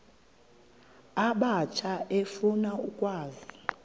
abatsha efuna ukwazi